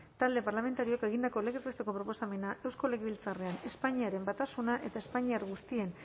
talde parlamentarioak egindako legez besteko proposamena eusko legebiltzarrean espainiaren batasuna eta espainiar guztien